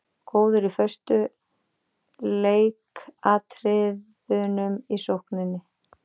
Góður í föstu leikatriðunum í sókninni.